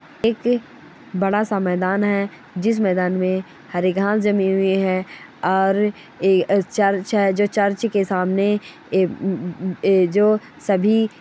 एक बड़ा सा मैदान हैं जिस मैदान में हरी घास जमी हुई हैं और ए चर्च है जो चर्च के सामने ए ए जो सभी --